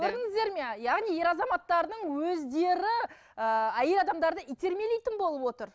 көрдіңіздер ме яғни ер азаматтардың өздері ы әйел адамдарды итермелейтін болып отыр